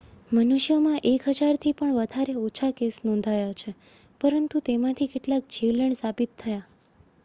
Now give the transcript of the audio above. મનુષ્યોમાં એક હજારથી પણ ઓછા કેસ નોંધાયા છે પરંતુ તેમાંથી કેટલાક જીવલેણ સાબિત થયા